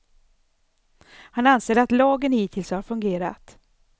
Han anser att lagen hittills har fungerat.